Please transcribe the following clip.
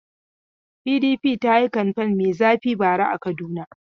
PDP ta yi kamfen mai zafi a Kaduna bara.